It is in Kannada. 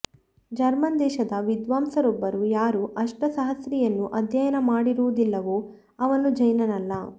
ಜರ್ಮನ್ ದೇಶದ ವಿದ್ವಾಂಸರೊಬ್ಬರು ಯಾರು ಅಷ್ಟಸಹಸ್ರಿಯನ್ನು ಅಧ್ಯಯನ ಮಾಡಿರುವುದಿಲ್ಲವೋ ಅವನು ಜೈನನಲ್ಲ